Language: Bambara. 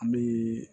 An bɛ